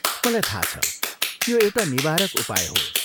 मलाई थाहा छ, यो एउटा निवारक उपाय हो।